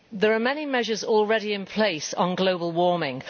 There are many measures already in place on global warming.